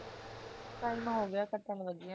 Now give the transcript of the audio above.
time ਹੋ ਗਿਆ ਕੱਟਣ ਲਗੀ ਆਂ ਮੈਂ